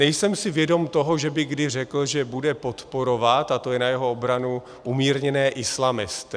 Nejsem si vědom toho, že by kdy řekl, že bude podporovat - a to je na jeho obranu - umírněné islamisty.